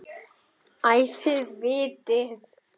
Æ, þið vitið.